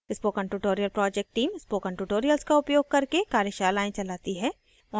spoken tutorial project team spoken tutorials का उपयोग करके कार्यशालाएँ भी चलाती है